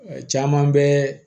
Caman bɛ